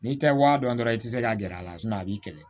N'i tɛ wa dɔn dɔrɔn i tɛ se ka gɛr'a la a b'i kɛlɛ